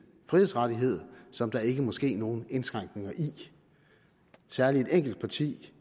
frihedsrettighed som der ikke må ske nogen indskrænkninger i særligt et enkelt parti